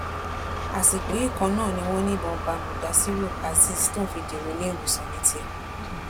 àsìkò yìí kan náà ni wọn ní ìbọn bá mudasiru azeez tóun fi dèrò iléèwòsàn ní tiẹ